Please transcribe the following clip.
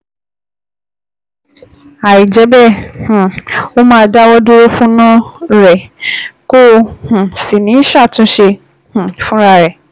Àìjẹ́ bẹ́ẹ̀, um ó máa dáwọ́ dúró fúna rẹ̀, kò um sì ní ṣàtúnṣe um fúnra rẹ̀